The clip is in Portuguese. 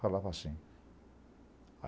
Falava assim.